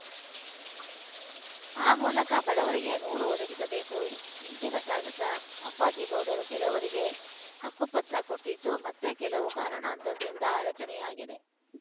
ಆ ಮೂಲಕ ಬಡವರಿಗೆ ನೂರು ಒದಗಿಸಬೇಕು ಹಿಂದಿನ ಶಾಸಕ ಅಪ್ಪಾಜಿಗೌಡರು ಕೆಲವರಿಗೆ ಹಕ್ಕುಪತ್ರ ಕೊಟ್ಟಿದ್ದು ಮತ್ತೆ ಕೆಲವು ಕಾರಣಾಂತರದಿಂದ ಅಡಚಣೆಯಾಗಿದೆ